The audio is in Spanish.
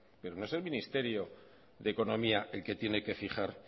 pero no es el ministerio de economía el que tiene que fijar